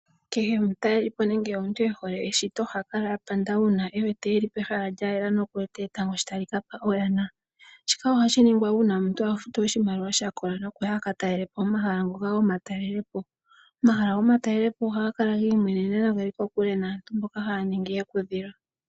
Kehe omutalelipo nenge omuntu ohelo eshito oha kala apanda uuna ewete eli pehala lya yela noku wete etango sho tali kapa oyana. Shika oha shi ningwa uuna omuntu afutu oshimaliwa Shakola no kuya aka ta lelepo Omahala ngoka gomatalelepo. Omahala go matalelepo oha ga kala gi imwenena no geli kokule naantu mboka haya ningi ekudhilo.